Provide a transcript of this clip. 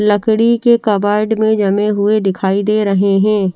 लकड़ी के कपबोर्ड में जमे हुए दिखाई दे रहे हैं।